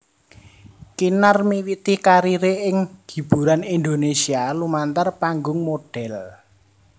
Kinar miwiti kariré ing hiburan Indonésia lumantar panggung modhél